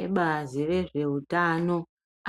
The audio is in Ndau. Ebazi rezveutano